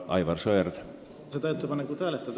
Aivar Sõerd, palun!